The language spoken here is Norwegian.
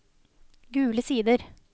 Gule Sider